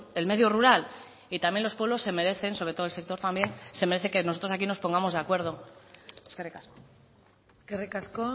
el medio rural y también los pueblos se merecen sobre todo el sector también se merece que nosotros aquí nos pongamos de acuerdo eskerrik asko eskerrik asko